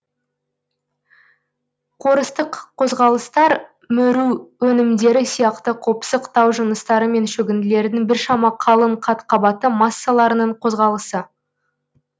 қорыстық қозғалыстар мөру өнімдері сияқты қопсық тау жыныстары мен шөгінділердің біршама қалың қат қабаты массаларының қозғалысы